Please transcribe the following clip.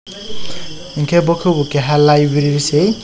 hingke bo kebo keha laiberi se.